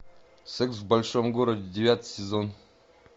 секс в большом городе девятый сезон